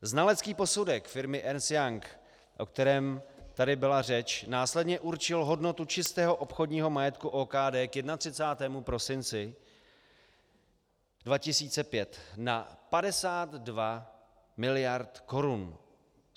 Znalecký posudek firmy Ernst & Young, o kterém tady byla řeč, následně určil hodnotu čistého obchodního majetku OKD k 31. prosinci 2005 na 52 mld. korun.